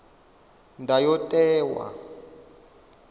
ndayotewa